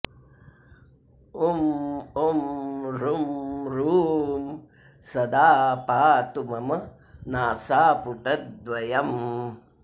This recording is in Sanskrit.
उं उं ऋं ॠं सदा पातु मम नासापुटद्वयम्